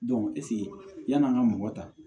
yann'an ka mɔgɔ ta